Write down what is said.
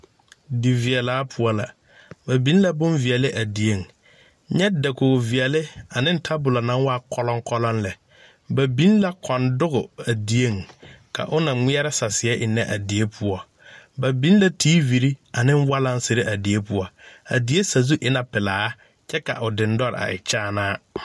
Di veɛlaa kaŋa la ba biŋ la boŋ veɛle a dieŋ dakoge veɛle ka tabolɔ meŋ waa kɔlɔŋ kɔlɔŋ lɛ ba biŋ la kɔŋ dɔge a dieŋ la o naŋmeɛrɛ saseɛ a dieŋ ba biŋ la tiivire ane walaŋsire a die poɔ a fie sazu e la pilaa kyɛ ka o diŋdɔre a e kyaanaa.